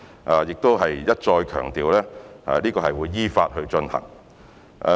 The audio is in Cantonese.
我亦想一再強調，這項工作會依法進行。